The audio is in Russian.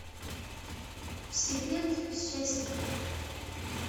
секрет счастья